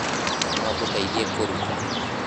Nongũteithie kũruga